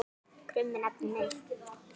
krummi nafni minn.